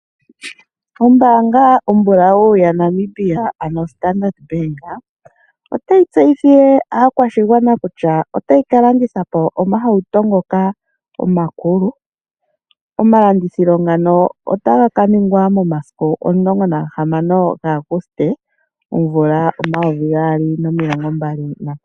Ombaanga ombulawu ya Namibia ano Standard Bank , otayi tseyithile aakwashingwana kutya otayi ka landitha po omahauto ngoka omakulu, omalandithilo ngano otaga ka ningwa momasiku 16 gaaguste 2025.